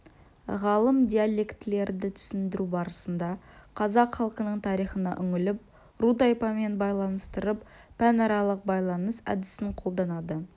ғалым диалектілерді түсіндіру барысында қазақ халқының тарихына үңіліп ру-тайпамен байланыстырып пәнаралық байланыс әдісін қолданады